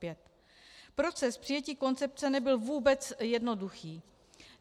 Proces přijetí konce nebyl vůbec jednoduchý.